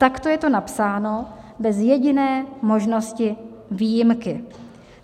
Takto je to napsáno bez jediné možnosti výjimky.